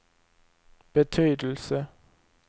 betydelse